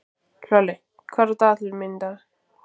Hlölli, hvað er á dagatalinu mínu í dag?